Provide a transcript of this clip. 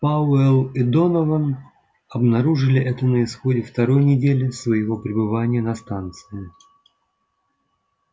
пауэлл и донован обнаружили это на исходе второй недели своего пребывания на станции